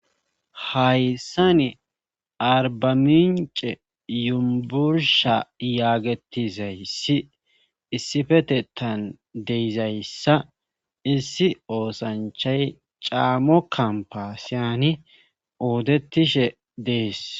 hayssa ni arbamince yumbursha yaagetizayssi issifetetan deizayssa issi oosanchay caammo kampasiyani oodettishe dees